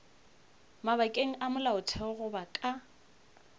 mabakeng a molaotheo goba ka